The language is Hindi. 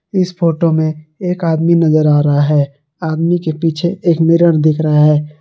इस फोटो में एक आदमी नजर आ रहा है आदमी के पीछे एक मिरर दिख रहा है।